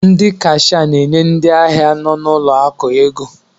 ndị Kashịa na-enye ndị ahịa nọ n'ụlọ akụ ego